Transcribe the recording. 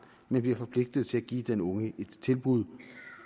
men bliver forpligtet til at give den unge et tilbud